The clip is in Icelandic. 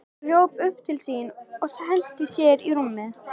Hún hljóp upp til sín og henti sér í rúmið.